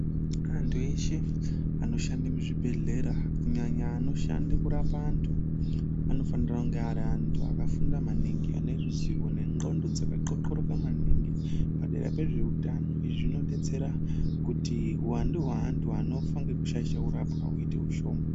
Antu eshe anoshanda muzvibhedhleya kunyanya anoshande kurapa antu anofana kunge ari antu akafunda maningi ane ruzivo nendxondo dzakaxoxoroka padera pezveutano izvi zvinodetsera kuti uwandu hweantu anofa ngekushaishwa kurapwa uite ushoma.